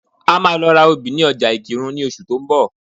A máa lọ ra obì ní ọjà Ìkìrun ní oṣù tó ń bọ̀